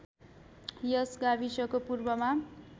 यस गाविसको पूर्वमा